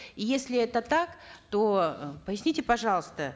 и если это так то э поясните пожалуйста